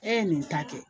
E ye nin ta kɛ